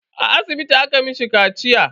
A asibiti aka mishi kaciya.